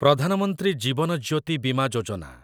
Pradhan Mantri Jeevan Jyoti Bima Yojana